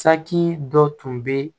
Saki dɔ tun bɛ